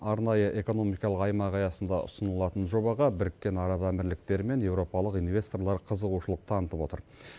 арнайы экономикалық аймақ аясында ұсынылатын жобаға біріккен араб әмірліктері мен еуропалық инвесторлар қызығушылық танытып отыр